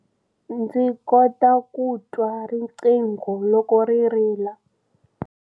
Ndzi kota ku twa riqingho loko ri rila.